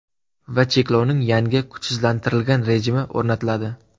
Va cheklovning yangi, kuchsizlantirilgan rejimi o‘rnatiladi.